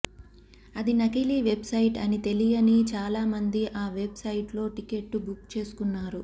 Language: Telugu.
అది నకిలీ వెబ్ సైట్ అని తెలియని చాలా మంది ఆ వెబ్ సైట్లో టికెట్లు బుక్ చేసుకున్నారు